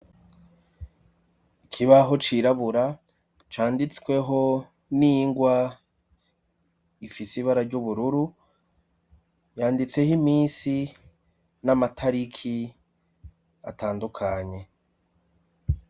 Ikibaho cirabura canditsweho n'ingwa ifise eibara ry'ubururu yanditseho iminsi n'amatariki atandukanye.